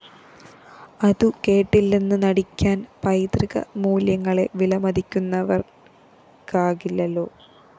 അതു കേട്ടില്ലെന്നു നടിക്കാന്‍ പൈതൃക മൂല്യങ്ങളെ വിലമതിക്കുന്നവര്‍ക്കാകില്ലല്ലോ